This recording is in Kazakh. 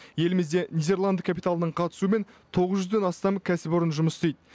елімізде нидерланд капиталының қатысуымен тоғыз жүзден астам кәсіпорын жұмыс істейді